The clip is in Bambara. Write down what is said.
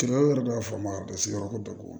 Kiri yɛrɛ b'a fɔ ma basi yɔrɔ ko